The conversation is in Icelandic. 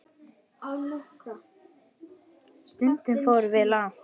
Stundum fórum við langt.